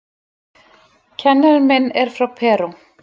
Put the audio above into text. Kennarinn minn er frá Perú.